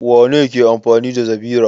Wane ne ke amfani da zabira?